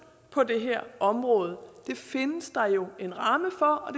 på det her område det findes der jo en ramme for og